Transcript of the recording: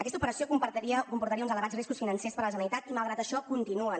aquesta operació comportaria uns elevats riscos financers per a la generalitat i malgrat això continuen